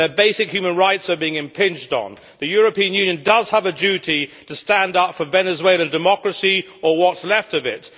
their basic human rights are being impinged on. The European Union does have a duty to stand up for Venezuelan democracy or what is left of it.